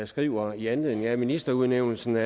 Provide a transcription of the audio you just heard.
skriver i anledning af ministerudnævnelsen at